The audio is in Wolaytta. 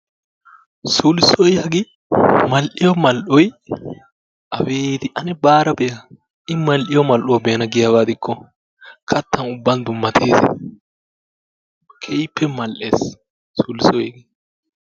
Sulssoy hagee mal''iyo mal"oy abeeti! ane baara be'a. I mal''iyo mal''uwaa be'ana giikko katta ubban dummattees. keehippe mal''es sulssoy.